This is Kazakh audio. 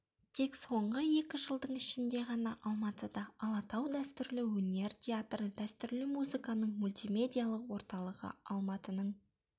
тек соңғы екі жылдың ішінде ғана алматыда алатау дәстүрлі өнер театры дәстүрлі музыканың мультимедиялық орталығы алматының